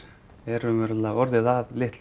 er raunverulega orðið að litlu